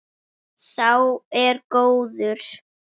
Sá er góður.